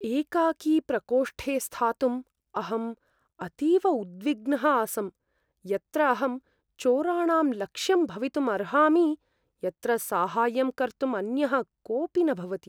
एकाकी प्रकोष्ठे स्थातुम् अहम् अतीव उद्विग्नः आसं, यत्र अहं चोराणां लक्ष्यं भवितुम् अर्हामि, यत्र साहाय्यं कर्तुम् अन्यः कोऽपि न भवति।